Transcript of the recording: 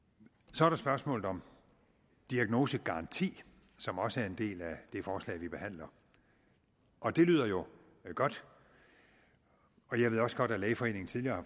så er der spørgsmålet om diagnosegaranti som også er en del af det forslag vi behandler og det lyder jo godt jeg ved også godt at lægeforeningen tidligere